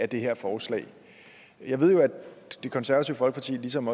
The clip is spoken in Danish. det her forslag jeg ved jo at det konservative folkeparti ligesom